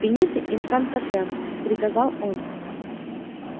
фините инкантатем приказал он